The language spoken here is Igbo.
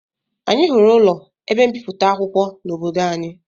Anyị hụrụ ụlọ ebe mbipụta akwụkwọ n'obodo anyị